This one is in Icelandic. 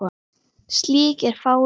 Slíkt er fáum gefið.